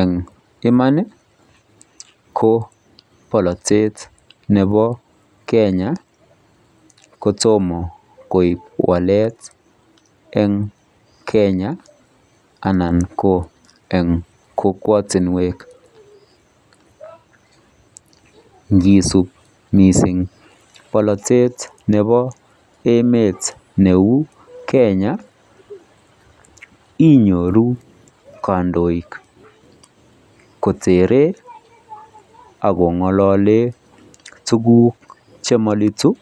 Eng imaan ii ko baratet nebo Kenya kotomah koek waleet eng Kenya anan ko eng kokwaktinweek ngisuup missing bolatet neuu kenya inyoruu kandoik kotere ako ngalaleen tuguuk che malituu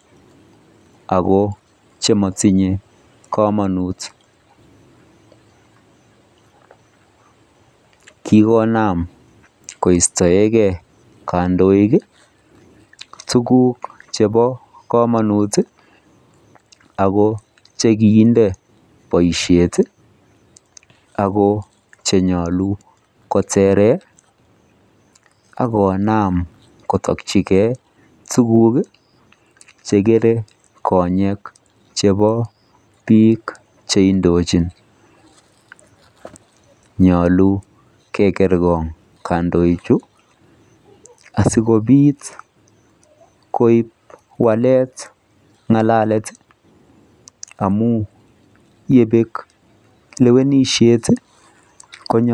ako chematinyei kamanuut kikonam koistaegei kandoik tuguuk chebo kamanuut ako chekiinde boisiet ii ako che nyaluu kotereen akonam komakyigei tuguuk che kerei konyeek chebo biik che indojiin nyaluu keger ngoong kandoik chuu asikoib lewenisiet konyoo.